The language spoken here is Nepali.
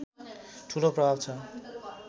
ठूलो प्रभाव छ